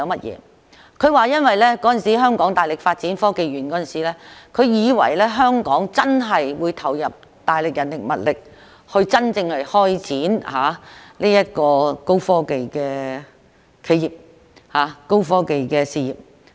因為當年香港大力發展香港科學園時，他以為香港真的會投入大量人力和物力，真正支持高科技企業、發展高科技的事業。